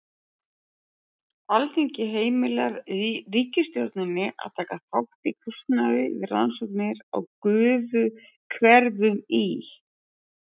Alþingi heimilar ríkisstjórninni að taka þátt í kostnaði við rannsóknir á gufuhverum í